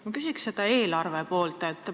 Ma küsin eelarvepoole kohta.